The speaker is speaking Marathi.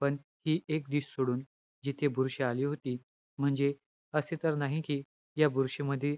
पण हि एक dish सोडून, जिथे बुरशी आली होती. म्हणजे, असे तर नाही कि, या बुरशींमध्ये,